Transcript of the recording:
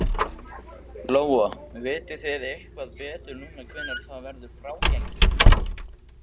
Lóa: Vitið þið eitthvað betur núna hvenær það verður frágengið?